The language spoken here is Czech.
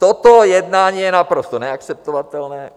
"Toto jednání je naprosto neakceptovatelné.